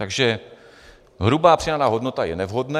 Takže hrubá přidaná hodnota je nevhodné.